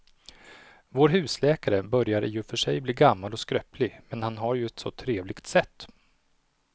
Vår husläkare börjar i och för sig bli gammal och skröplig, men han har ju ett sådant trevligt sätt!